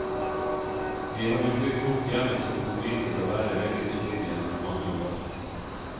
Vi har jo bygd opp hjemmets økonomi til å være veldig solid gjennom mange år.